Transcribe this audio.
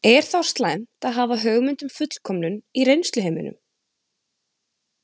Er þá slæmt að hafa hugmynd um fullkomnun í reynsluheiminum?